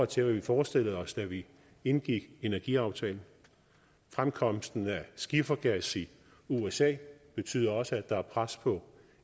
til hvad vi forestillede os da vi indgik energiaftalen fremkomsten af skiftergas i usa betyder også at der er pres på